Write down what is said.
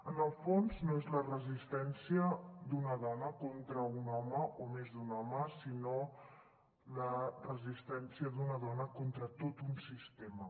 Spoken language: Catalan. en el fons no és la resistència d’una dona contra un home o més d’un home sinó la resistència d’una dona contra tot un sistema